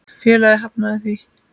Félagið hafnaði því.